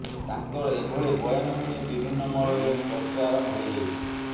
ତାଙ୍କର ଏଭଳି ବୟାନକୁ ନେଇ ବିଭିନ୍ନ ମହଲରେ ଏବେ ଚର୍ଚ୍ଚା ଆରମ୍ଭ ହୋଇ ଯାଇଛି